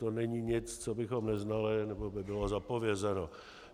To není nic, co bychom neznali nebo by bylo zapovězeno.